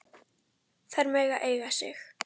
Þær mega eiga sig.